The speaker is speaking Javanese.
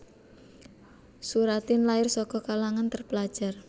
Soeratin lair saka kalangan terpelajar